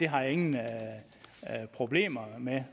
har jeg ingen problemer med